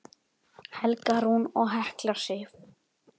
Helga Rún og Hekla Sif.